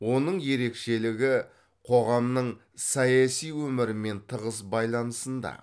оның ерекшелігі қоғамның саяси өмірімен тығыз байланысында